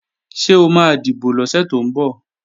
Ṣé o máa dìbò lọ́sẹ̀ tó ń bọ̀?